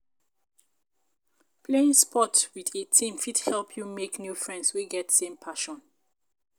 Playing sports with a team fit help you make new friends wey get same passion.